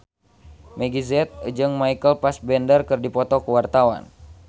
Meggie Z jeung Michael Fassbender keur dipoto ku wartawan